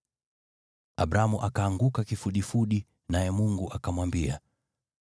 Abramu akaanguka kifudifudi, naye Mungu akamwambia,